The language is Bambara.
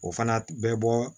O fana bɛ bɔ